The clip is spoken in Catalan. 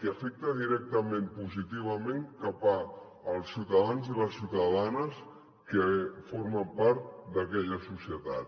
que afecta directament positivament els ciutadans i les ciutadanes que formen part d’aquella societat